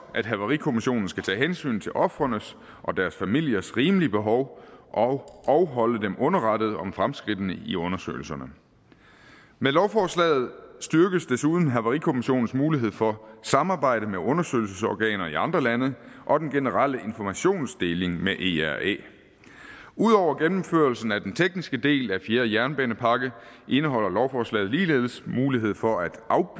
at havarikommissionen skal tage hensyn til ofrenes og deres familiers rimelige behov og og holde dem underrettet om fremskridtene i undersøgelserne med lovforslaget styrkes desuden havarikommissionens mulighed for samarbejde med undersøgelsesorganer i andre lande og den generelle informationsdeling med era ud over gennemførelsen af den tekniske del af fjerde jernbanepakke indeholder lovforslaget ligeledes mulighed for at